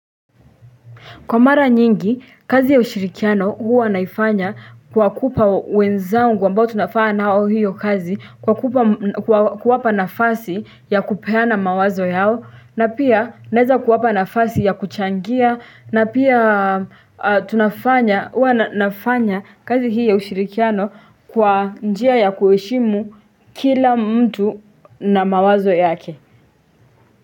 Kwa mara nyingi, kazi ya ushirikiano huwa naifanya kwa kupa wenzangu ambao tunafanya nao hiyo kazi, kwa kupa, kwa kuwapa nafasi ya kupeana mawazo yao, na pia naeza kuwapa nafasi ya kuchangia, na pia tunafanya, huwa nafanya kazi hii ya ushirikiano kwa njia ya kuheshimu kila mtu na mawazo yake.